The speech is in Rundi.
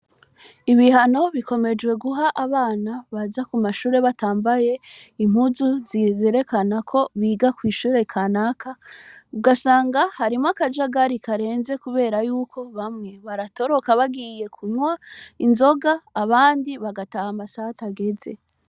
Ibihano bikomejwe guha abana baza ku mashure batambaye impuzu zerekana ko biga kw'ishure kanaka, ugasanga harimwo akajagari karenze kubera y'uko bamwe baratoroka bagiye kunywa inzoga, abandi bagataha amasaha atageze.